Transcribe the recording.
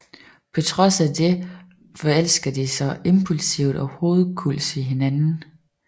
På trods af dette forelsker de sig impulsivt og hovedkulds i hinanden